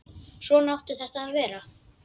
Svona átti þetta að vera.